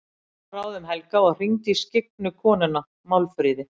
Ég fór að ráðum Helga og hringdi í skyggnu konuna, Málfríði.